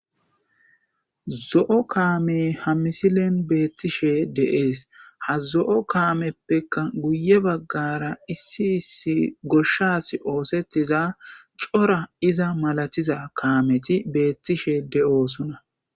Zo'o kamey h missillen betishe de'es. Ha zo'o kameppe guye bagara issi issi goshas oththiza cora iza malatiza kameti betishe de'osonna